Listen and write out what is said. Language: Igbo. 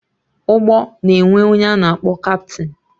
Ụgbọ na-enwe ọnye a na-akpọ kaptịn